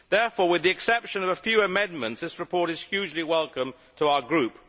Therefore, with the exception of a few amendments, this report is hugely welcome to our Group.